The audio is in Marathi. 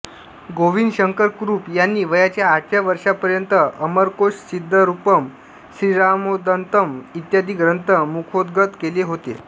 गोविंद शंकर कुरूप यांनी वयाच्या आठव्या वर्षांपर्यंत अमरकोश सिद्धरूपम् श्रीरामोदन्तम् इत्यादी ग्रंथ मुखोद्गत केले होते